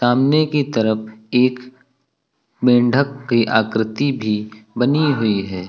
सामने की तरफ एक मेंढक की आकृति भी बनी हुई है।